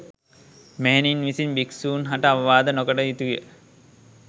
මෙහෙණින් විසින් භික්‍ෂූන් හට අවවාද නො කටයුතු ය